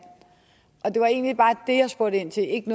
det var egentlig bare det jeg spurgte ind til ikke